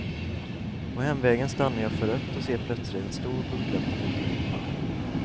På hemvägen stannar jag för rött och ser plötsligt en stor buckla på motorhuven.